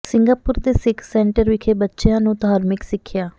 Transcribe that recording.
Singapore ਦੇ Sikh centre ਵਿਖੇ ਬੱਚਿਆਂ ਨੂੰ ਧਾਰਮਿਕ ਸਿਖਿਆ